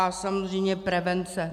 A samozřejmě prevence.